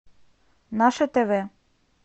наше тв